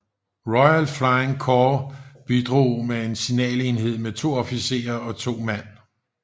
Royal Flying Corps bidrog med en signalenhed på to officerer og 2 mand